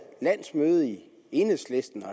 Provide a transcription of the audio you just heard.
landsmøde i enhedslisten og